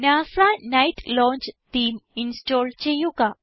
NASA night launch theme install ചെയ്യുക